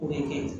O bɛ kɛ